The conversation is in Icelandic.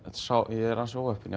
ég er ansi óheppinn